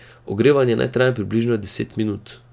Ogrevanje naj traja približno deset minut.